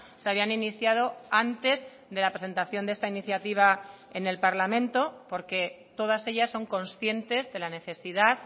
se habían iniciado antes de la presentación de esta iniciativa en el parlamento porque todas ellas son conscientes de la necesidad